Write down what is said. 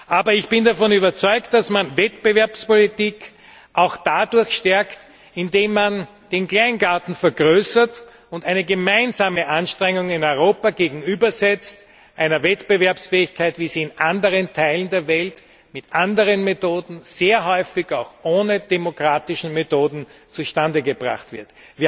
Aber ich bin davon überzeugt, dass man Wettbewerbspolitik auch stärkt, indem man den Kleingarten vergrößert und gemeinsame Anstrengungen in Europa einer Wettbewerbsfähigkeit gegenübersetzt, wie sie in anderen Teilen der Welt mit anderen Methoden, sehr häufig auch ohne demokratische Methoden, zustande gebracht wird.